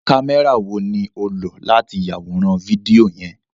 Kamẹra wo ni o lo lati yaworan fidio yẹn?